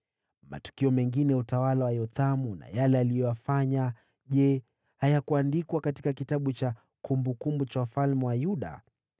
Matukio mengine ya utawala wa Yothamu na yale aliyoyafanya, je, hayakuandikwa katika kitabu cha kumbukumbu za wafalme wa Yuda?